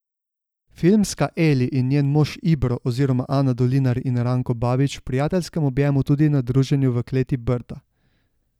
Filmska Eli in njen mož Ibro oziroma Ana Dolinar in Ranko Babić v prijateljskem objemu tudi na druženju v Kleti Brda.